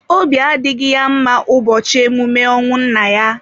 Obi adịghị ya mma n'ụbọchị emume ọnwụ nna ya.